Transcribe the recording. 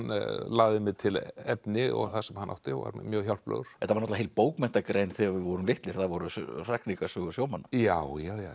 lagði mér til efni sem hann átti og var mér mjög hjálplegur þetta var heil bókmenntagrein þegar við vorum litlir það voru hrakningasögur sjómanna já já